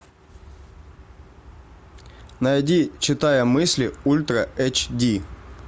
найди читая мысли ультра эйч ди